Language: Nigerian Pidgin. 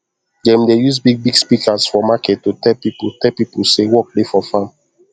dem dey use big big speakers for market to tell pipo tell pipo say work dey for farm